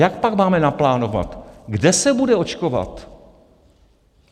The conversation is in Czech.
Jak pak máme naplánovat, kde se bude očkovat?